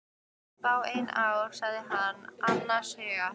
Fáein ár sagði hann annars hugar.